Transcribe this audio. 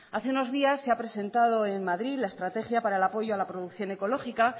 hace unos día se ha presentado en madrid la estrategia para el apoyo a la producción ecológica